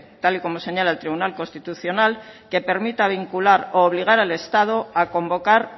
tal y como señala el tribunal constitucional que permita vincular u obligar al estado a convocar